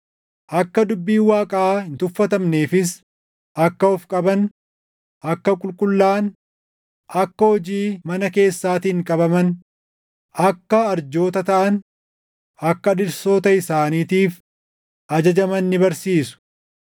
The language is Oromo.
akka dubbiin Waaqaa hin tuffatamneefis akka of qaban, akka qulqullaaʼan, akka hojii mana keessaatiin qabaman, akka arjoota taʼan, akka dhirsoota isaaniitiif ajajaman ni barsiisu.